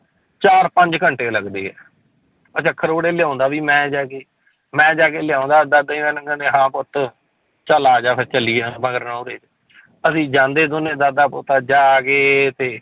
ਚਾਰ ਪੰਜ ਘੰਟੇ ਲੱਗਦੇ ਹੈ ਅੱਛਾ ਖਰੋੜੇ ਲਿਆਉਂਦਾ ਵੀ ਮੈਂ ਜਾ ਕੇ, ਮੈਂ ਜਾ ਕੇ ਲਿਆਉਂਦਾ ਦਾਦਾ ਜੀ ਮੈਨੂੰ ਕਹਿੰਦੇ ਹਾਂ ਪੁੱਤ ਚੱਲ ਆ ਜਾ ਫਿਰ ਚੱਲੀਏ ਮਗਰ ਨਹੁਰੇ ਅਸੀਂ ਜਾਂਦੇ ਦੋਨੇ ਦਾਦਾ ਪੋਤਾ ਜਾ ਕੇ ਤੇ